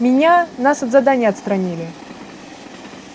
меня нас от задания отстранили